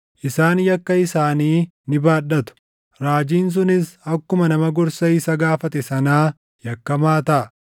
Isaan yakka isaanii ni baadhatu; raajiin sunis akkuma nama gorsa isa gaafate sanaa yakkamaa taʼa.